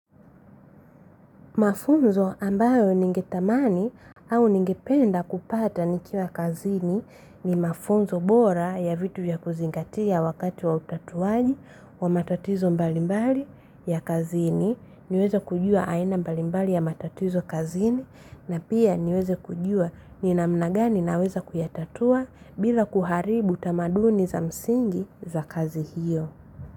Mafunzo ambayo ningetamani au ningependa kupata nikiwa kazini ni mafunzo bora ya vitu vya kuzingatia wakati wa utatuwaji wa matatizo mbalimbali ya kazini. Niweza kujua aina mbalimbali ya matatizo kazini na pia niweze kujua ni namna gani naweza kuyatatua bila kuharibu tamaduni za msingi za kazi hiyo.